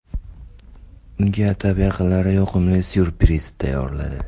Unga atab yaqinlari yoqimli syurpriz tayyorladi.